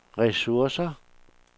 ressourcer